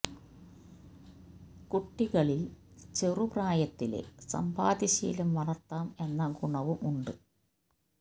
കുട്ടികളില് ചെറു പ്രായത്തിലേ സമ്പാദ്യ ശീലം വളര്ത്താം എന്ന ഗുണവും ഉണ്ട്